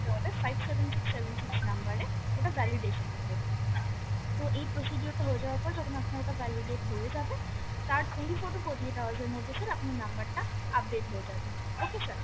হবে five seven six seven six number এ ওটা validation এর জন্য তো এই procedure টা হয়ে যাওয়ার পর যখন আপনার ওটা validate হয়ে যাবে তার twenty four to forty eight hours এর মধ্যে sir আপনার number টা update হয়ে যাবে okay sir